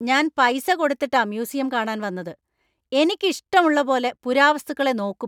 ഞാൻ പൈസ കൊടുത്തിട്ടാ മ്യൂസിയം കാണാൻ വന്നത് , എനിക്ക് ഇഷ്ടള്ള പോലെ പുരാവസ്തുക്കളെ നോക്കും!